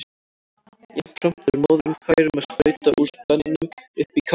Jafnframt er móðirin fær um að sprauta úr spenanum upp í kálfinn.